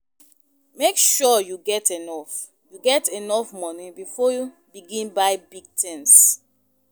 Make sure you get enough you get enough money before begin buy big tins.